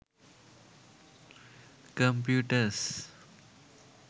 computers